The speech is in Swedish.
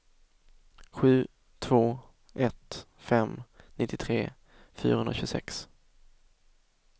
sju två ett fem nittiotre fyrahundratjugosex